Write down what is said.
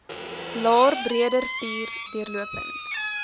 laer breederivier deurlopend